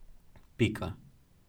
Pika.